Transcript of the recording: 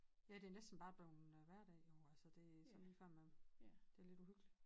Ja det er næsten bare blevet hverdag nu altså det sådan lige før man det er lidt uhyggelig